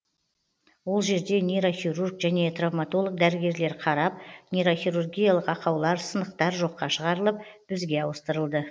ол жерде нейрохирург және травмотолог дәрігерлер қарап нейрохирургиялық ақаулар сынықтар жоққа шығарылып бізге ауыстырылды